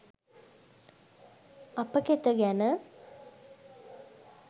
අප කෙත ගැන